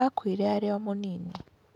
Aakuire arĩ o mũnini.